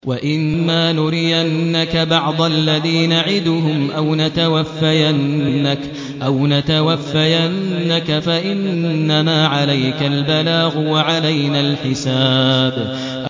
وَإِن مَّا نُرِيَنَّكَ بَعْضَ الَّذِي نَعِدُهُمْ أَوْ نَتَوَفَّيَنَّكَ فَإِنَّمَا عَلَيْكَ الْبَلَاغُ وَعَلَيْنَا الْحِسَابُ